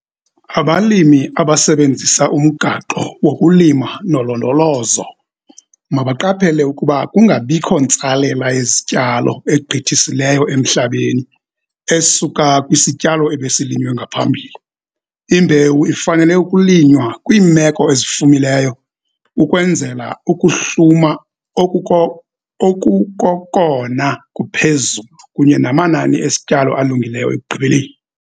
Abalimi abasebenzisa umgaqo wokulima ngolondolozo mabaqaphele ukuba kungabikho ntsalela yezityalo egqithisileyo emhlabeni esuka kwisityalo ebesilinywe ngaphambili. Imbewu ifanele ukulinywa kwiimeko ezifumileyo ukwenzela ukuhluma okuko okukokona kuphezulu kunye namanani esityalo alungileyo ekugqibeleni.